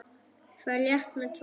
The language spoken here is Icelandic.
Ferð létt með tvær.